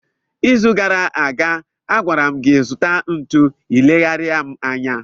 n'izu gara aga, a gwara m gị, zụta ntu, ị leghaara m anya